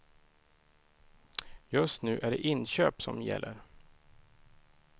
Just nu är det inköp som gäller.